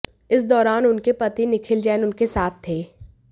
इस दौरान उनके पति निखिल जैन उनके साथ थे